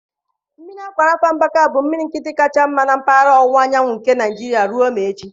Mmiri Akwa Rafa Mbaka bụ mmiri nkịtị kacha mma na mpaghara ọwụwa anyanwụ nke Nigeria ruo maa echi.